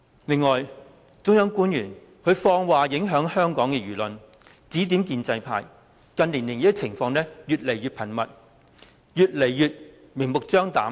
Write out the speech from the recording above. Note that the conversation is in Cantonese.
此外，中央官員放話影響香港的輿論，指點建制派，這些情況近年來越來越頻密，越來越明目張膽。